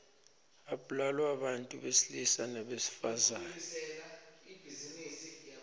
ablalwa bantfu besilisa nebesifazang